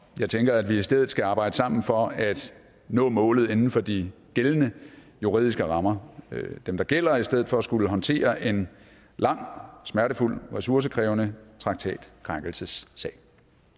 jeg tænker at vi i stedet skal arbejde sammen for at nå målet inden for de gældende juridiske rammer dem der gælder i stedet for at skulle håndtere en lang smertefuld og ressourcekrævende traktatkrænkelsessag